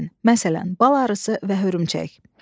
Məsələn, bal arısı və hörümçək.